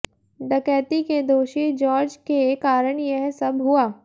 डकैती के दोषी जॉर्ज के कारण यह सब हुआ